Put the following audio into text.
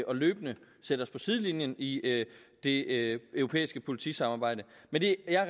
og løbende sætter os på sidelinjen i det europæiske politisamarbejde men det er